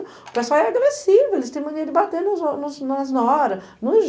O pessoal é agressivo, eles tem mania de bater nos nas nas noras, nos